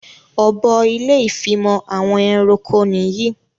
Ọ̀bọ ilé ìfimọ̀ àwọn ẹranko nìyí